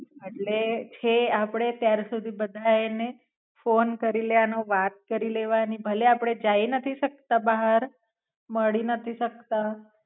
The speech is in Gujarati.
એટલે છે આપડે ત્યા સુધી બધાય ને ફોન કરી લેવાનો વાત કરી લેવાની ભલે આપડે જાઈ નથી સકતા બહાર મળી નથી શકતા.